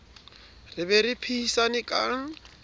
re be re phehisane ka